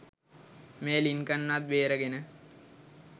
මේ ලින්කන්වත් බේරගෙන